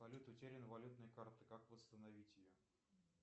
салют утеряна валютная карта как восстановить ее